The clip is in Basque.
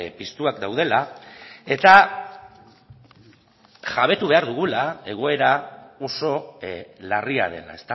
piztuak daudela eta jabetu behar dugula egoera oso larria dela